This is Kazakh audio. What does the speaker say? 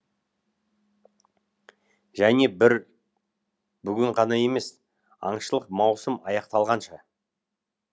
және бір бүгін ғана емес аңшылық маусым аяқталғанша